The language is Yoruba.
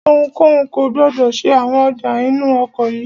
Ohunkóhun kò gbọdọ̀ ṣe àwọn ọjà inú ọkọ̀ yìí!